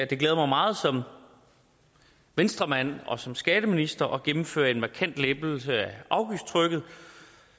det glæder mig meget som venstremand og som skatteminister at gennemføre en markant lempelse af afgiftstrykket